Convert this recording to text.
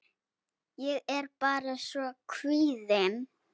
Ég er bara svo kvíðin.